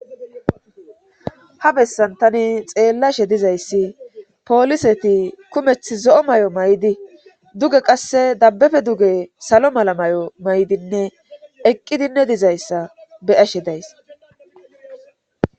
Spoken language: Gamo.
ha bessan tani xeellashe dizayssi pooliseti kumeth zo'o mayo maydi duge qasse dabbafe duge salo mala mayo maydinne eqqi dinne dizayssa be'ashe days